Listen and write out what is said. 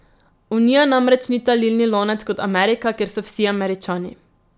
Unija namreč ni talilni lonec kot Amerika, kjer so vsi Američani.